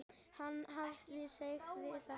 Hann hafði sagt það.